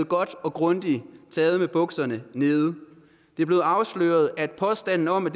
godt og grundigt med bukserne nede det er blevet afsløret at påstanden om at